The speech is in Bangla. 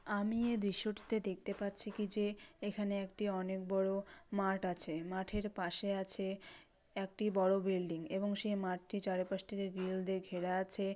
আমি এই দৃশ্যটিতে দেখতে পাচ্ছি কি যে এখানে একটি অনেক বড় মাঠ আছে মাঠের পাশে আছে একটি বড় বিল্ডিং এবং সেই মাঠটি চারপাশ থেকে গিরিল দিয়ে ঘেরা আছে।